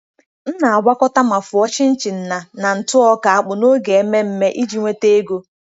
M na-agwakọta ma fụọ chin-chin na na ntụ ọka akpu n'oge ememme iji nweta ego.